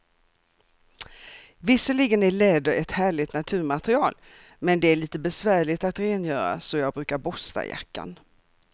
Visserligen är läder ett härligt naturmaterial, men det är lite besvärligt att rengöra, så jag brukar borsta jackan.